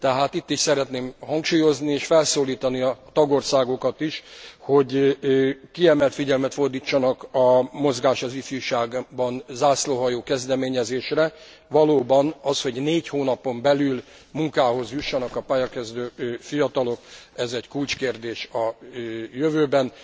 Tehát itt is szeretném hangsúlyozni és felszólítani a tagországokat is, hogy kiemelt figyelmet fordítsanak a Mozgásban az ifjúság zászlóshajó kezdeményezésre. Valóban, az, hogy négy hónapon belül munkához jussanak a pályakezdő fiatalok, ez egy kulcskérdés a jövőben.